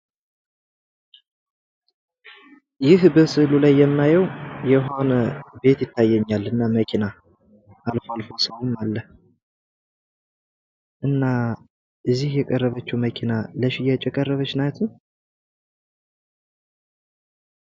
ይህ በስእሉ ላይ የማየው የሆነ ቤትና መኪና ይታየኛል። አልፎ አልፎ ሰውም አለ። እና እዚህ የቀረበችው መኪና ለሽያጭ የቀረበች ናት?